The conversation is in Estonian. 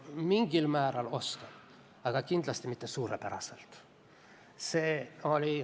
Mingil määral oskan, aga kindlasti mitte suurepäraselt.